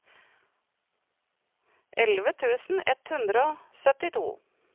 elleve tusen ett hundre og syttito